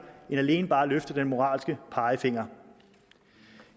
end alene bare at løfte den moralske pegefinger